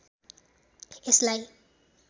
यसलाई